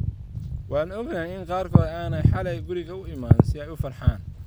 Waan ogahay in qaarkood aanay xalay guriga u iman si ay u farxaan.